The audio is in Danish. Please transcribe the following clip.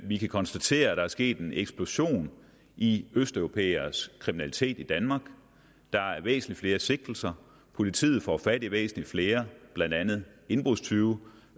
vi kan konstatere at der er sket en eksplosion i østeuropæeres kriminalitet i danmark der er væsentlig flere sigtelser og politiet får fat i væsentlig flere blandt andet indbrudstyve